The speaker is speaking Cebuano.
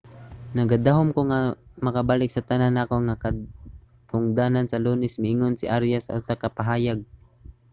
nagadahom ko nga makabalik sa tanan nako nga katungdanan sa lunes, miingon si arias sa usa ka pahayag